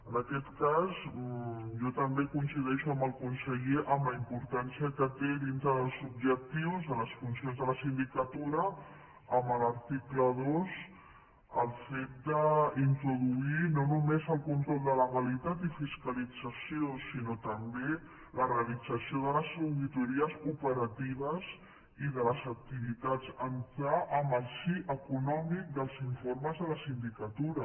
en aquest cas jo també coincideixo amb el conseller en la importància que té dintre dels objectius de les funcions de la sindicatura en l’article dos el fet d’introduir no només el control de legalitat i fiscalització sinó també la realització de les auditories operatives i de les activitats entrar en el si econòmic dels informes de la sindicatura